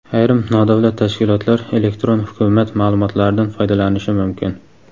Ayrim nodavlat tashkilotlar "Elektron hukumat" ma’lumotlaridan foydalanishi mumkin.